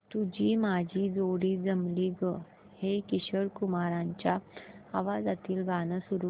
तुझी माझी जोडी जमली गं हे किशोर कुमारांच्या आवाजातील गाणं सुरू कर